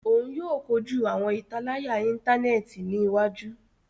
Òún yóò kọjú awọn italaya intaneti ní iwájú.